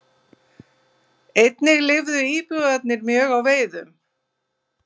Einnig lifðu íbúarnir mjög á veiðum.